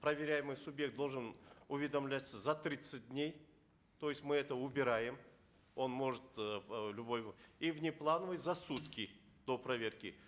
проверяемый субъект должен уведомляться за тридцать дней то есть мы это убираем он может эээ в любой и внеплановый за сутки до проверки